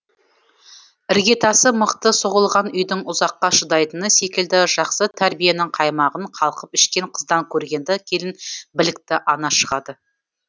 іргетасы мықты соғылған үйдің ұзаққа шыдайтыны секілді жақсы тәрбиенің қаймағын қалқып ішкен қыздан көргенді келін білікті ана шығады